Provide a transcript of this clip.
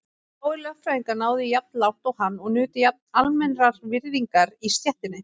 Fáir lögfræðingar náðu jafn langt og hann og nutu jafn almennrar virðingar í stéttinni.